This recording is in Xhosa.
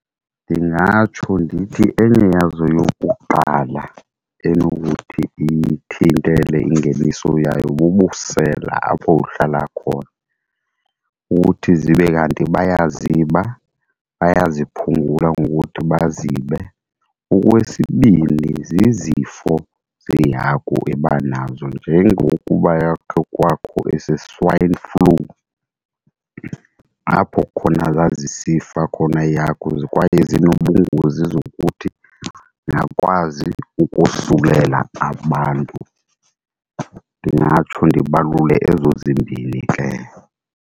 Ndingatsho ndithi enye yazo yokuqala enokuthi iyithintele ingeniso yayo bubusela apho uhlala khona, uthi zibe kanti bayaziba bayaziphungula ngokuthi bazibe. Okwesibini, zizifo zehagu eba nazo njengokuba yakhe kwakho ese-swine flu apho khona zazisifa khona iihagu kwaye zinobungozi zokuthi zingakwazi ukosulela abantu. Ndingatsho ndibalule ezo zimbini ke.